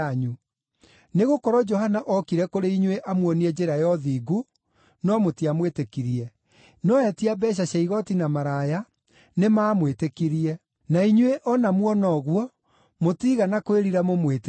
Nĩgũkorwo Johana ookire kũrĩ inyuĩ amwonie njĩra ya ũthingu, no mũtiamwĩtĩkirie, no etia mbeeca cia igooti na maraya nĩmamwĩtĩkirie. Na inyuĩ o na muona ũguo, mũtiigana kwĩrira mũmwĩtĩkie.